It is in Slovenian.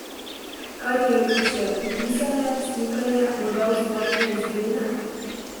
Kaj ti je ljubše, risanje, slikanje, morda ustvarjanje iz gline?